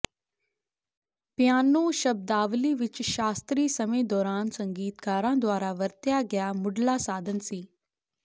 piano ਸ਼ਬਦਾਵਲੀ ਵਿਚ ਸ਼ਾਸਤਰੀ ਸਮੇਂ ਦੌਰਾਨ ਸੰਗੀਤਕਾਰਾਂ ਦੁਆਰਾ ਵਰਤਿਆ ਗਿਆ ਮੁਢਲਾ ਸਾਧਨ ਸੀ